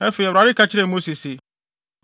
Afei, Awurade ka kyerɛɛ Mose se,